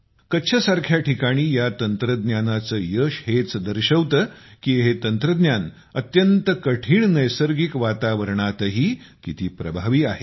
कच्छसारख्या ठिकाणी या तंत्रज्ञानाचे यश हेच दर्शवते की हे तंत्रज्ञान अत्यंत कठीण नैसर्गिक वातावरणातही किती प्रभावी आहे